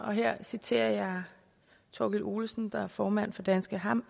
og her citerer jeg thorkild olesen der er formand for danske